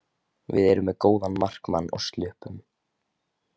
Við erum með góðan markmann og sluppum.